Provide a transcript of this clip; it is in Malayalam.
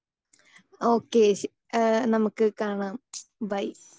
സ്പീക്കർ 2 ഓക്കേ ശ ഏഹ് നമുക്ക് കാണാം ബൈ.